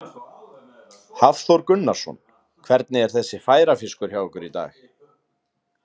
Hafþór Gunnarsson: Hvernig er þessi færafiskur hjá ykkur í dag?